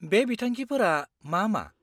-बे बिथांखिफोरा मा मा?